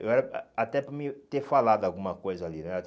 Eu era ah até para me ter falado alguma coisa ali, né?